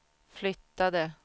flyttade